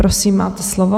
Prosím, máte slovo.